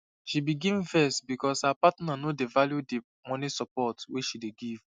she begin vex because her partner no dey value the money support wey she dey give